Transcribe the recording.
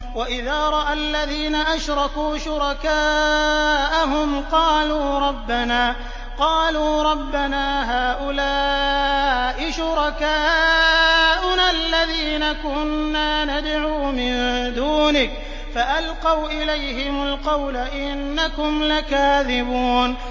وَإِذَا رَأَى الَّذِينَ أَشْرَكُوا شُرَكَاءَهُمْ قَالُوا رَبَّنَا هَٰؤُلَاءِ شُرَكَاؤُنَا الَّذِينَ كُنَّا نَدْعُو مِن دُونِكَ ۖ فَأَلْقَوْا إِلَيْهِمُ الْقَوْلَ إِنَّكُمْ لَكَاذِبُونَ